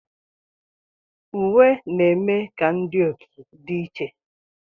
Uwe na-eme ka ndị otu dị iche.